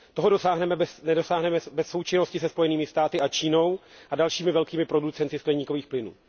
Toho nedosáhneme bez součinnosti se Spojenými státy, s Čínou a dalšími velkými producenty skleníkových plynů.